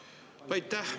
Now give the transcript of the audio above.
Aitäh!